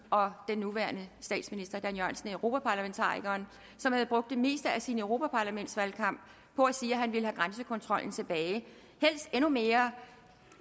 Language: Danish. og den nuværende statsminister dan jørgensen er europaparlamentarikeren som havde brugt det meste af sin europaparlamentsvalgkamp på at sige at han ville have grænsekontrollen tilbage helst endnu mere